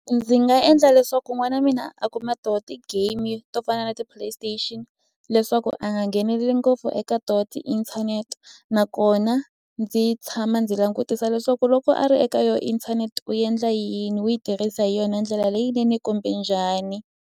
Ndzi nga endla leswaku n'wana wa mina a kuma toho ti-game to fana na ti-play station leswaku a nga ngheneleli ngopfu eka tona tiinthanete nakona ndzi tshama ndzi langutisa leswaku loko a ri eka yona inthanete u endla yini u yi tirhisa hi yona ndlela leyinene kumbe njhani.